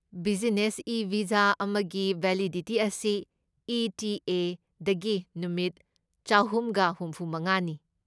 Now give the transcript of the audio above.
Business e visa ꯑꯃꯒꯤ validity ꯑꯁꯤ E. T. A. ꯗꯒꯤ ꯅꯨꯃꯤꯠ ꯆꯍꯨꯝꯒ ꯍꯨꯝꯐꯨꯃꯉꯥꯅꯤ꯫